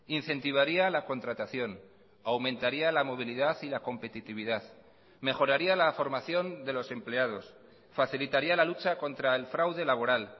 incentivaría la contratación aumentaría la movilidad y la competitividad mejoraría la formación de los empleados facilitaría la lucha contra el fraude laboral